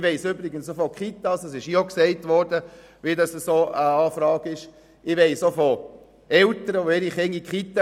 Ich weiss auch von Eltern, die ihre Kinder in die Kita schicken und ein Elternteil arbeitet nicht.